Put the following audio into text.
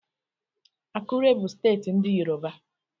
Akure bụ steeti ndị Yoruba.